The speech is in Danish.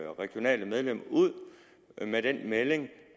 regionale medlem ud med den melding